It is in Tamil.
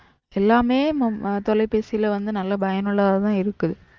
எல்லாமே தொலைபேசில வந்து நல்ல பயனுள்ளதான் இருக்கு